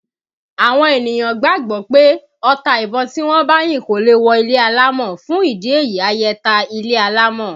Àwọn ènìyàn gbàgbọ́ pé ọta ìbon tí wọ́n bá yín kò lè wọ ilé alámọ̀, fún ìdí èyí ayẹta ilé alámọ̀